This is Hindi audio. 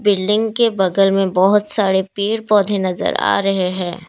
बिल्डिंग के बगल में बहुत सारे पेड़ पौधे नजर आ रहे हैं।